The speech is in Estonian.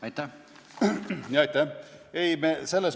Aitäh!